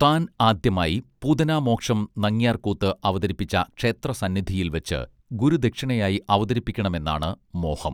താൻ ആദ്യമായി പൂതനാമോക്ഷം നങ്യാർ കൂത്ത് അവതരിപ്പിച്ച ക്ഷേത്ര സന്നിധിയിൽ വച്ച് ഗുരുദക്ഷിണയായി അവതരിപ്പിക്കണമെന്നാണ് മോഹം